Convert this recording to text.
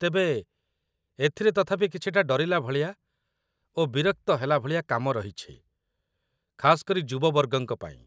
ତେବେ, ଏଥିରେ ତଥାପି କିଛିଟା ଡରିଲା ଭଳିଆ ଓ ବିରକ୍ତ ହେଲା ଭଳିଆ କାମ ରହିଛି, ଖାସ୍‌ କରି ଯୁବବର୍ଗଙ୍କ ପାଇଁ ।